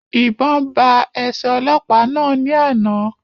Ìbọn ba ẹsẹ ọlọ́pàá náà ní àna